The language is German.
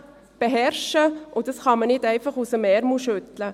Dies kann man nicht einfach aus dem Ärmel schütteln.